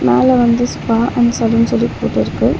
மேல வந்து spa and salon சொல்லி போட்டிருக்கு.